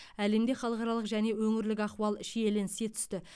әлемде халықаралық және өңірлік ахуал шиеленісе түсті